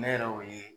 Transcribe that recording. Ne yɛrɛ y'o ye